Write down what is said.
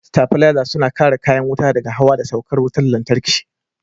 Sitabilaza suna kare kayan wuta daga hawa da saukan wutar lantarki.